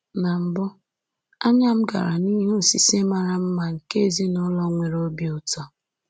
Na mbụ, anya m gara n’ihe osise mara mma nke ezinụlọ nwere obi ụtọ